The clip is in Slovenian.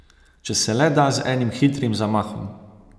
Če se le da z enim hitrim zamahom.